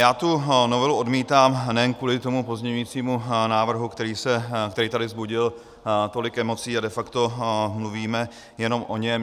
Já tu novelu odmítám, nejen kvůli tomu pozměňujícímu návrhu, který tady vzbudil tolik emocí, a de facto mluvíme jenom o něm.